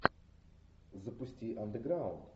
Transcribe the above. запусти андеграунд